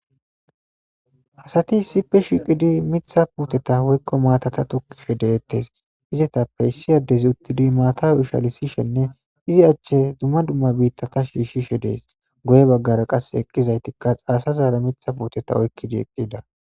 Asati issippe shiqidi mitha puuteta woykko maatata tukkishe deettes izetappe issiyaddezi uttidi maata ushalisishenne izi achche dumma dumma biitta ta shiishshishe dees goye baggara qas eqqizaytikka aasazaara mitha puuteta oykkidi eqqida.